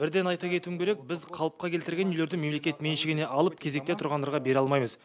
бірден айта кетуім керек біз қалыпқа келтірілген үйлерді мемлекет меншігіне алып кезекте тұрғандарға бере алмаймыз